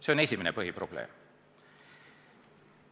See on esimene põhiprobleem.